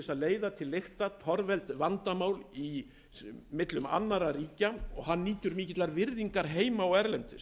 eftirsóttur til að leiða til lykta torveld vandamál millum annarra ríkja og nýtur mikillar virðingar heima og erlendis